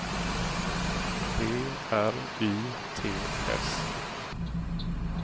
B R Y T S